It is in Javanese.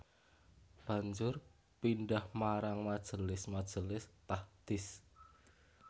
Banjur pindhah marang majelis majelis tahdits